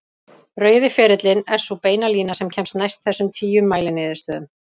Rauði ferillinn er sú beina lína sem kemst næst þessum tíu mæliniðurstöðum.